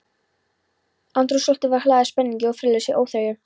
Andrúmsloftið var hlaðið spenningi- og friðlausri óþreyju.